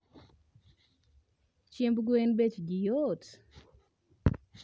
Chiemb gwen bech gi yot